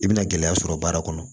I bɛna gɛlɛya sɔrɔ baara kɔnɔ